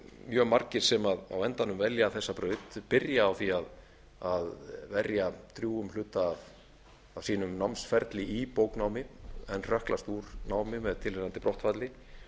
mjög margir sem á endanum velja þessa braut byrja á því að verja drjúgum hluta af sínum námsferli í bóknámi en hrökklast úr námi með tilheyrandi brottfalli